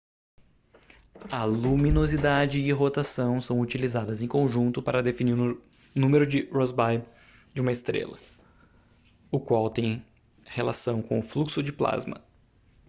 a luminosidade e rotação são utilizadas em conjunto para definir o número de rossby de uma estrela o qual tem relação com o fluxo de plasma